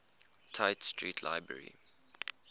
tite street library